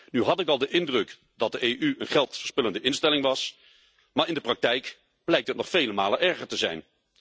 Nu had ik al de indruk dat de EU een geldverspillende instelling was, maar in de praktijk blijkt het nog vele malen erger te zijn.